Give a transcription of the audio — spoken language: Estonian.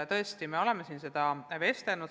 Tõesti, me oleme siin seda arutanud.